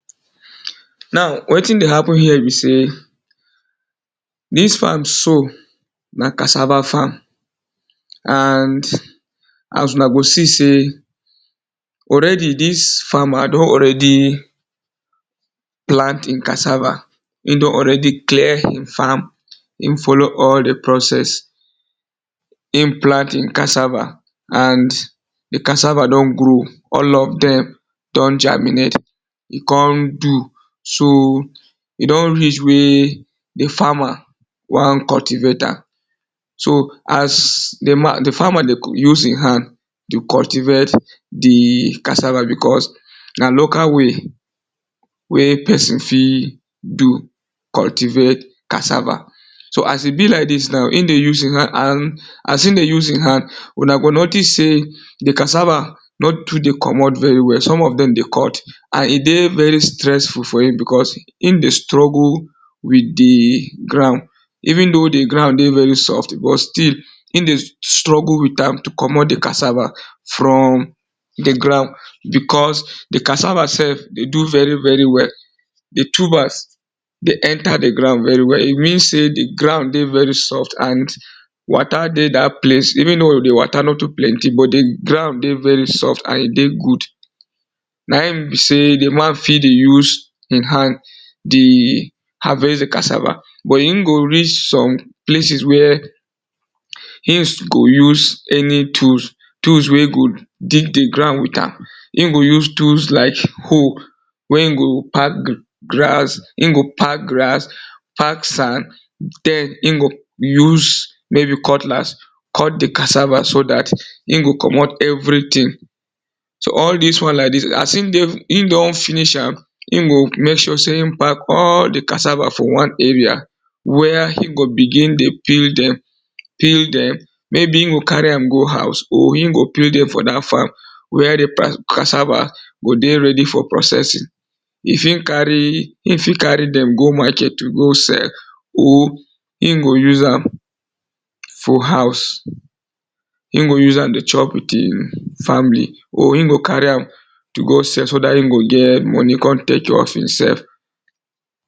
Now wetin dey happen here be sey dis farm na cassava farm already I don plant cassava, don already clear di farm, follow all di process, e plant d cassava and di cassava don grow all of dem don germinate, e kon do so e don reach wey di farmer wan cultivate am, so as di farmer dey use e hand dey cultivate di cassava because na local way wey pesin fit do cultivate cassava. So as e be like dis now, e dey use e hand as e dey use e hand, una go notic sey di cassava don too dey common, and some of dem dey cut and e dey too stressful because e dey strruggl with di ground even though di ggound dey very soft but still e dey struggle with am to commot di cassava from di ground because di cassava sef dey do very very well, di tuber dey enter di ground very well e mean sey di ground dey very soft and water dey dat place even though di water nor too plenty but di ground dey very soft and e dey good. Na in be sey di man fit dey use e hand dey harvest di cassava but e go raise some places wey e go use any tools, tools wey go dig di ground, e go use tools like hoe wey e go pack grass, pack sand, den e go use maybe cutlass cut di cassava so dat e go commot everything so all dis wan like dis as e don finish am, e gomek sure sey e pack all di cassava for wan area where e go begin dey treat dem maybe e go carry am go house or e go peel dem for dat farm where di cassava go dey ready for processing. E fit carry dem go market go sell, e go use am for house, e go use am dey chop with e family or e go carry am go sell so dat e go get moni kontek care of e sef.